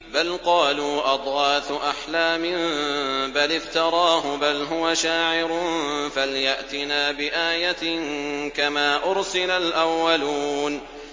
بَلْ قَالُوا أَضْغَاثُ أَحْلَامٍ بَلِ افْتَرَاهُ بَلْ هُوَ شَاعِرٌ فَلْيَأْتِنَا بِآيَةٍ كَمَا أُرْسِلَ الْأَوَّلُونَ